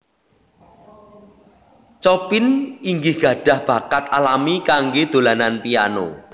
Chopin inggih gadhah bakat alami kanggé dolanan piano